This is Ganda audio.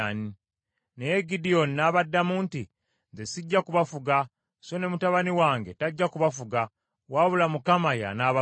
Naye Gidyoni n’abaddamu nti, “Nze sijja kubafuga, so ne mutabani wange tajja kubafuga, wabula Mukama y’anaabafuganga.”